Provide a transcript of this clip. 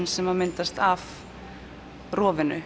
sem myndast af